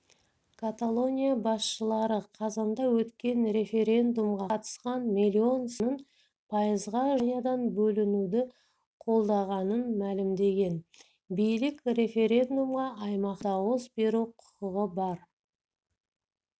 каталония басшылары қазанда өткен референдумға қатысқан миллион сайлаушының пайызға жуығы испаниядан бөлінуді қолдағанын мәлімдеген билік референдумға аймақтың дауыс беру құқығы бар